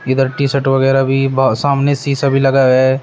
इधर T shirt वगैरा भी ब सामने शीशा भी लगा है।